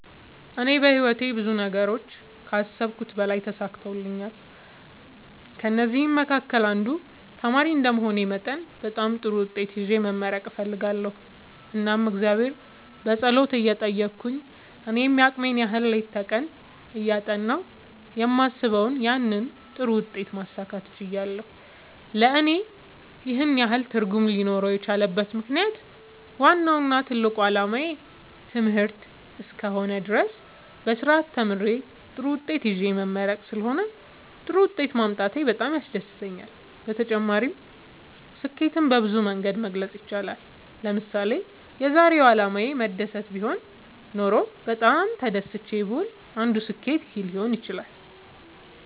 እኔ በህይወቴ ብዙ ነገሮችን ከአሰብሁት በላይ ተሳክተውልኛል ከእነዚህም መካከል አንዱ ተማሪ እንደመሆኔ መጠን በጣም ጥሩ ውጤት ይዤ መመረቅ እፈልጋለሁ እናም እግዚአብሔርን በጸሎት እየጠየቅሁ እኔም የአቅሜን ያህል ሌት ከቀን እያጠናሁ የማስበውን ያንን ጥሩ ውጤት ማሳካት ችያለሁ ለእኔ ይህን ያህል ትርጉም ሊኖረው የቻለበት ምክንያት ዋናው እና ትልቁ አላማዬ ትምህርት እስከ ሆነ ድረስ በስርአት ተምሬ ጥሩ ውጤት ይዤ መመረቅ ስለሆነ ጥሩ ውጤት ማምጣቴ በጣም ያስደስተኛል። በተጨማሪ ስኬትን በብዙ መንገድ መግለፅ ይቻላል ለምሳሌ የዛሬው አላማዬ መደሰት ቢሆን ኖሮ በጣም ተደስቼ ብውል አንዱ ስኬት ይህ ሊሆን ይችላል